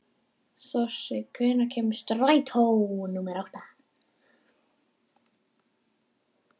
Þossi, hvenær kemur strætó númer átta?